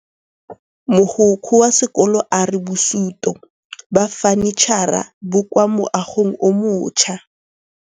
Mogokgo wa sekolo a re bosutô ba fanitšhara bo kwa moagong o mošwa.